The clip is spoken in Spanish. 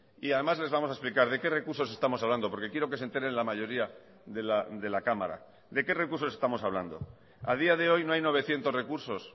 y además les vamos a explicar de qué recursos estamos hablando porque quiero que se enteren la mayoría de la cámara de qué recursos estamos hablando a día de hoy no hay novecientos recursos